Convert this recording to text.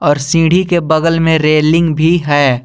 और सीढ़ी के बगल में रेलिंग भी है।